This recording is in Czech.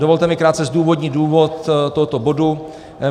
Dovolte mi krátce zdůvodnit důvod tohoto bodu.